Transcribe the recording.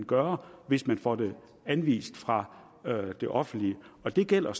gøre hvis man får det anvist fra det offentlige det gælder